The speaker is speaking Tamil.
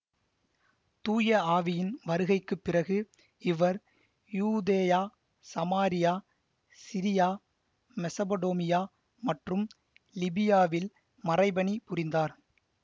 தூய ஆவியின் வருகைக்கு பிறகு இவர் யூதேயா சமாரியா சிரியா மெசபடோமியா மற்றும் லிபியாவில் மறைபணி புரிந்தார்